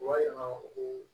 U b'a yira ko